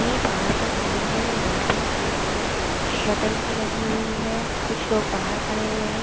ये बाहर का सीन हैं यहाँ पे एक शटल सी लगी हुई हैं कुछ लोग बाहर खड़े हुए हैं ।